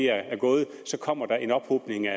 er gået kommer der en ophobning af